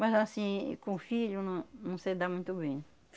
Mas assim, com o filho, não, não sei dar muito bem.